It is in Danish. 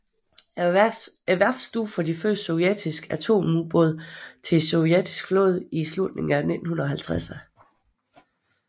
Værftet stod for de første sovjetiske atomubåde til den sovjetiske flåde i slutningen af 1950erne